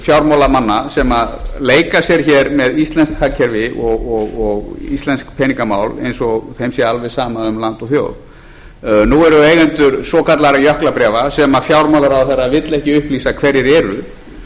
fjármálamanna sem leika sér hér með íslenskt hagkerfi og íslensk peningamál eins og þeim sé alveg sama um land og þjóð nú eru eigendur svokallaðra jöklabréfa sem fjármálaráðherra vill ekki upplýsa hverjir